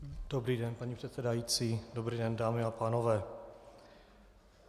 Dobrý den, paní předsedající, dobrý den, dámy a pánové.